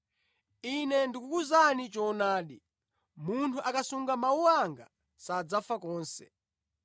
Ine ndikukuwuzani choonadi, munthu akasunga mawu anga, sadzafa konse.”